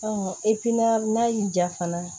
n'a y'i diya fana